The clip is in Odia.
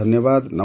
ଧନ୍ୟବାଦ